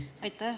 Aitäh!